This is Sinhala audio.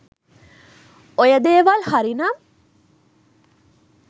ඔය දේවල් හරි නම්